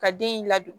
Ka den in ladu